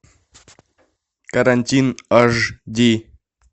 карантин ашди